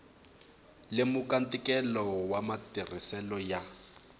lemuka ntikelo wa matirhiselo ya